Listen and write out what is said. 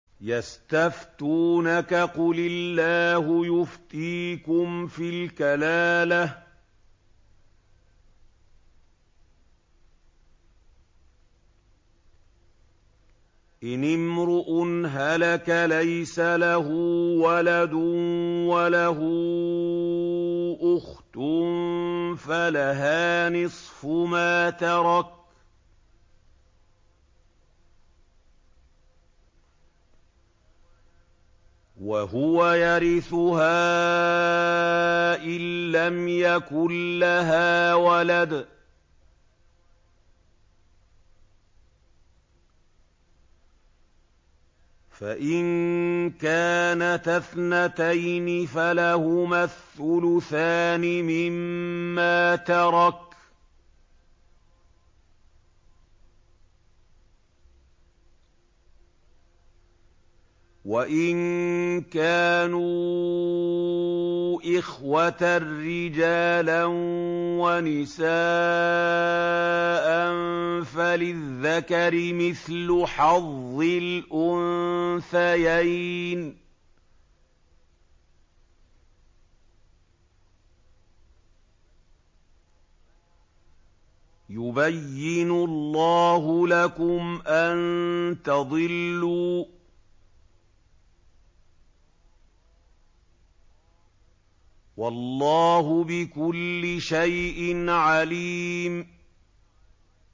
يَسْتَفْتُونَكَ قُلِ اللَّهُ يُفْتِيكُمْ فِي الْكَلَالَةِ ۚ إِنِ امْرُؤٌ هَلَكَ لَيْسَ لَهُ وَلَدٌ وَلَهُ أُخْتٌ فَلَهَا نِصْفُ مَا تَرَكَ ۚ وَهُوَ يَرِثُهَا إِن لَّمْ يَكُن لَّهَا وَلَدٌ ۚ فَإِن كَانَتَا اثْنَتَيْنِ فَلَهُمَا الثُّلُثَانِ مِمَّا تَرَكَ ۚ وَإِن كَانُوا إِخْوَةً رِّجَالًا وَنِسَاءً فَلِلذَّكَرِ مِثْلُ حَظِّ الْأُنثَيَيْنِ ۗ يُبَيِّنُ اللَّهُ لَكُمْ أَن تَضِلُّوا ۗ وَاللَّهُ بِكُلِّ شَيْءٍ عَلِيمٌ